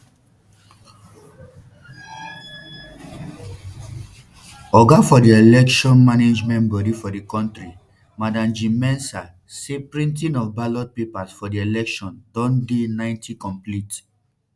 oga for di election management body for di kontri madam jean mensa say printing of ballot papers for for di election don dey ninety complete